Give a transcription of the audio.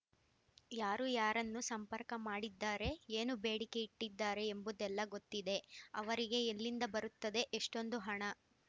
ಯಾರು ಯಾರನ್ನು ಸಂಪರ್ಕ ಮಾಡಿದ್ದಾರೆ ಏನು ಬೇಡಿಕೆ ಇಟ್ಟಿದ್ದಾರೆ ಎಂಬುದೆಲ್ಲಾ ಗೊತ್ತಿದೆ ಅವರಿಗೆ ಎಲ್ಲಿಂದ ಬರುತ್ತದೆ ಎಷ್ಟೊಂದು ಹಣ